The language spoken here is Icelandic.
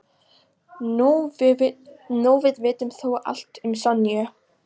Nú við vitum þó allt um Sonju.